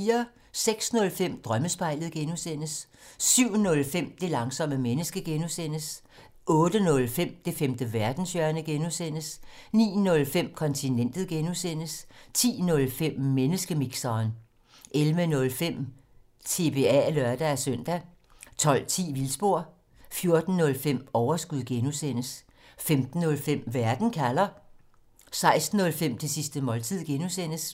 06:05: Drømmespejlet (G) 07:05: Det langsomme menneske (G) 08:05: Det femte verdenshjørne (G) 09:05: Kontinentet (G) 10:05: Menneskemixeren 11:05: TBA (lør-søn) 12:10: Vildspor 14:05: Overskud (G) 15:05: Verden kalder 16:05: Det sidste måltid (G)